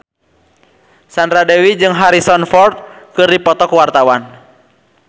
Sandra Dewi jeung Harrison Ford keur dipoto ku wartawan